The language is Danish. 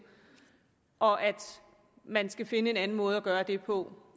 og at man skal finde en anden måde at gøre det på